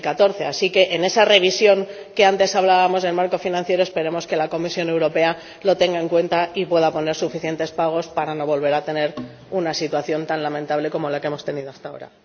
2014. Así que, en esa revisión del marco financiero de la que antes hablábamos, esperemos que la Comisión Europea lo tenga en cuenta y pueda poner suficientes pagos para no volver a tener una situación tan lamentable como la que hemos tenido hasta ahora.